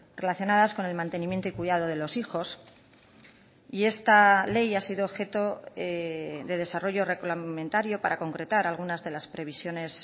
relacionadas con el mantenimiento y cuidado de los hijos y esta ley ha sido objeto de desarrollo reglamentario para concretar algunas de las previsiones